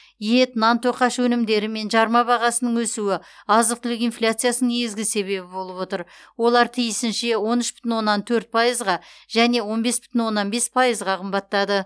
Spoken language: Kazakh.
ет нан тоқаш өнімдері мен жарма бағасының өсуі азық түлік инфляциясының негізгі себебі болып отыр олар тиісінше он үш бүтін оннан төрт пайызға және он бес бүтін оннан бес пайызға қымбаттады